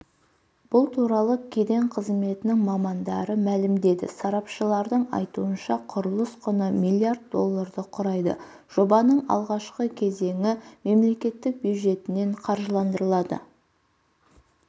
бұл туралы кеден қызметінің мамандары мәлімдеді сарапшылардың айтуынша құрылыс құны миллиард долларды құрайды жобаның алғашқы кезеңі мемлекеттік бюджетінен қаржыландырылады